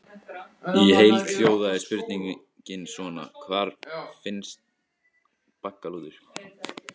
Í heild hljóðaði spurningin svona: Hvar finnst baggalútur?